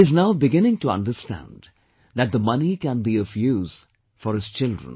He is now beginning to understand that the money can be of use for his children